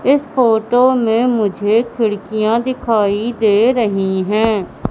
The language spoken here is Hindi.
इस फोटो में मुझे खिड़कियां दिखाई दे रही है।